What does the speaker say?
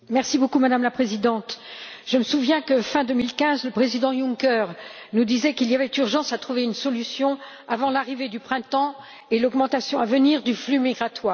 Madame la Présidente, je me souviens que, fin 2015, le président Juncker nous disait qu'il y avait urgence à trouver une solution avant l'arrivée du printemps et l'augmentation à venir du flux migratoire.